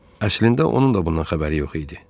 Əslində onun da bundan xəbəri yox idi.